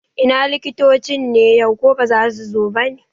Ina likitocin ne yau, ko baza su zo bane?